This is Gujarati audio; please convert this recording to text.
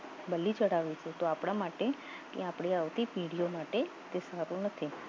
બલી ચડાવે છે તો આપણા માટે એ આપણી આવતી પેઢીઓ માટે તે સારું નથી